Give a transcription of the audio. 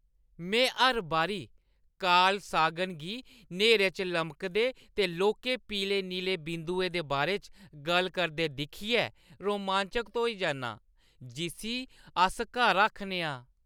में हर बारी कार्ल सागन गी न्हेरे च लमके दे लौह्‌के पीले नीले बिंदु दे बारे च गल्ल करदे दिक्खियै रोमांचत होई जन्नां जिस्सी अस घर आखने आं।